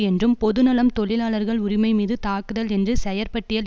என்றும் பொது நலம் தொழிலாளர்கள் உரிமைமீது தாக்குதல் என்று செயற்பட்டியல்